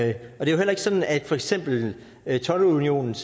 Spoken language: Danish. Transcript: det er jo heller ikke sådan at for eksempel toldunionens